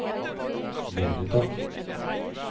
måneder